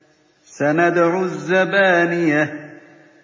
سَنَدْعُ الزَّبَانِيَةَ